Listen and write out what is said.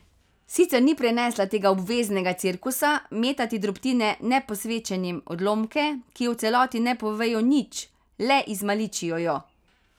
Sicer ni prenesla tega obveznega cirkusa, metati drobtine neposvečenim, odlomke, ki o celoti ne povejo nič, le izmaličijo jo.